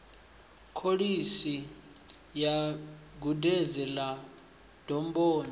kholishi ya gudedzi ḽa domboni